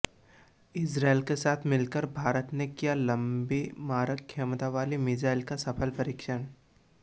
Israel के साथ मिलकर भारत ने किया लंबी मारक क्षमता वाली मिसाइल का सफल परीक्षण